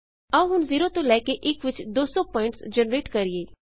ਆਓ ਹੁਣ 0 ਤੋਂ ਲੈ ਕੇ 1 ਵਿੱਚ 200 ਪੁਆਇੰਟਸ ਜਨਰੇਟ ਕਰਿਏ